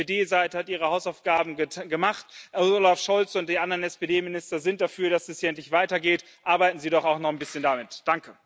Die SPD Seite hat ihre Hausaufgaben gemacht, Olaf Scholz und die anderen SPD Minister sind dafür, dass es hier endlich weitergeht. Arbeiten Sie doch auch noch ein bisschen daran mit!